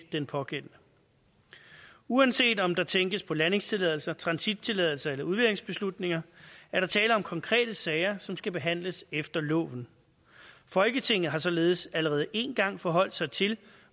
den pågældende uanset om der tænkes på landingstilladelse transittilladelse eller udleveringsbeslutning er der tale om konkrete sager som skal behandles efter loven folketinget har således allerede én gang forholdt sig til